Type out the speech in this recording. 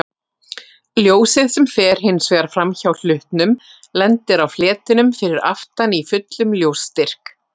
Ljósið sem fer hins vegar framhjá hlutnum lendir á fletinum fyrir aftan í fullum ljósstyrk.